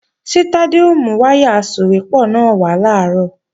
Ṣé Tádé ó mú wáyà asòwépọ̀ náà wá làárọ̀?